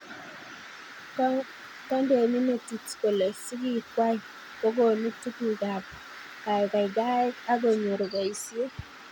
Kondeni metit kole sigikwai kokonu tugukab kaikaikaet a konyor boisiet